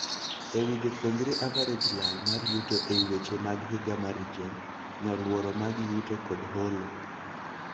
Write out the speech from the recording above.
Ewii jopuonjre average lal mar yuto ei weche mag higa mar region, nyoluoro mag yuto kod holo.